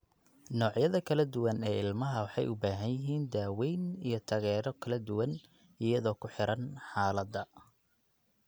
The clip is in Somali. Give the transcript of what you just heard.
Noocyada kala duwan ee ilmaha waxay u baahan yihiin daaweyn iyo taageero kala duwan iyadoo ku xiran xaaladda.